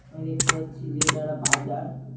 আমি দেখতে পাচ্ছি যে এটা একটা বাজার।